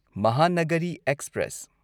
Mahanagari express